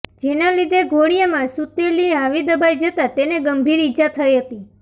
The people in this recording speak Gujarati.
જેના લીધે ઘોડીયામાં સૂતેલી હાર્વી દબાઈ જતાં તેને ગંભીર ઈજા થઈ હતી